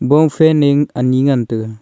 bo fan a ne ani ngan taga.